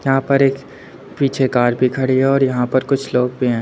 यहां पर एक पीछे कार भी खड़ी है और यहां पर कुछ लोग भी हैं।